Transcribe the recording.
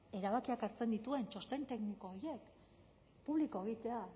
erabakiak hartzen dituen txosten tekniko horiek publiko egitea